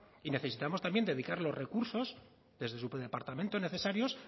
y necesitamos también dedicar los recursos desde su departamento necesarios